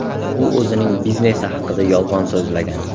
U o‘zining biznesi haqida yolg‘on so‘zlagan.